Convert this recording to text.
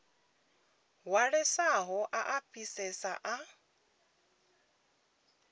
hwalesaho a a fhisesa a